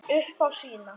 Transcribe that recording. Upp á sína.